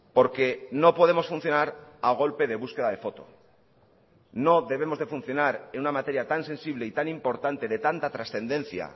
porque no podemos funcionar a golpe de búsqueda de foto no debemos de funcionar en una materia tan sensible y tan importante de tanta trascendencia